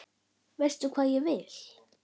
Veist hvað ég vil.